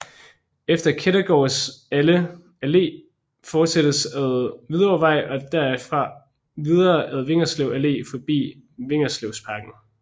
Efter Kettegårds Alle fortsættes ad Hvidovrevej og derfra videre ad Vigerslev Allé forbi Vigerslevparken